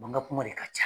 Mankan kuma de ka ca